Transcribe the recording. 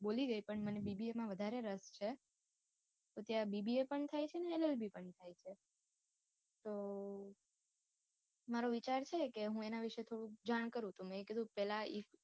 B. com તો હું બોલી ગઈ પણ મને BBA મા વધારે રસ છે. તો ત્યાં BBA પણ થાય છે ને LLB પણ થાય છે. તો મારો વિચાર છે કે હું એના વિશે થોડુંક જાણ કરું, તો મેં કીધું પેહલા